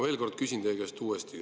Ma küsin teie käest uuesti.